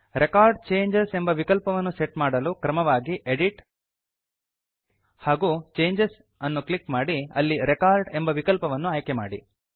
record changes ಎಂಬ ವಿಕಲ್ಪವನ್ನು set ಮಾಡಲು ಕ್ರಮವಾಗಿ ಎಡಿಟ್ ಹಾಗೂ ಚೇಂಜಸ್ ಅನ್ನು ಕ್ಲಿಕ್ ಮಾಡಿ ಅಲ್ಲಿ ರೆಕಾರ್ಡ್ ಎಂಬ ವಿಕಲ್ಪವನ್ನು ಆಯ್ಕೆಮಾಡಿ